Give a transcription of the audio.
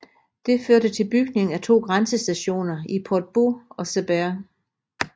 Det førte til bygning af to grænsestationer i Portbou og Cerbère